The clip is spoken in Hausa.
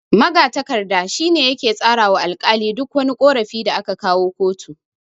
Magatakarda shine yake tsara wa alkali duk wani ƙorafi da aka kawo kotu.